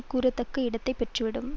கூறத்தக்க இடத்தை பெற்றுவிடும்